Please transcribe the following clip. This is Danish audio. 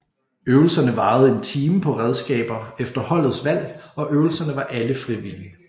Øvelserne varede en time på redskaber efter holdets valg og øvelserne var alle frivillige